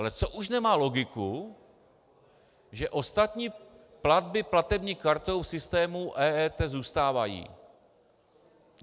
Ale co už nemá logiku, že ostatní platby platební kartou v systému EET zůstávají.